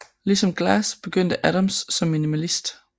Ligesom Glass begyndte Adams som minimalist